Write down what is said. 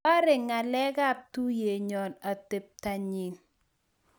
Bare ngalekab tuiyenyo atebto nyi